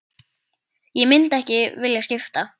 Ég myndi ekki vilja skipta.